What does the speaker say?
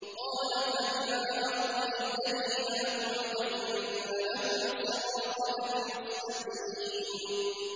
قَالَ فَبِمَا أَغْوَيْتَنِي لَأَقْعُدَنَّ لَهُمْ صِرَاطَكَ الْمُسْتَقِيمَ